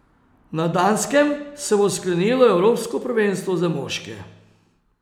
Na Danskem se bo sklenilo evropsko prvenstvo za moške.